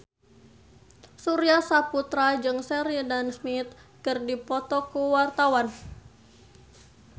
Surya Saputra jeung Sheridan Smith keur dipoto ku wartawan